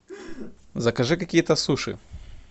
закажи какие то суши